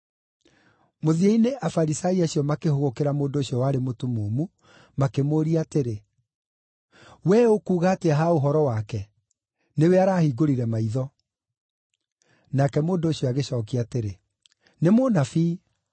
Mũthia-inĩ Afarisai acio makĩhũgũkĩra mũndũ ũcio warĩ mũtumumu, makĩmũũria atĩrĩ, “Wee ũkuuga atĩa ha ũhoro wake? Nĩwe araahingũrire maitho.” Nake mũndũ ũcio agĩcookia atĩrĩ, “Nĩ mũnabii.”